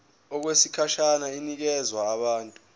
okwesikhashana inikezwa abantu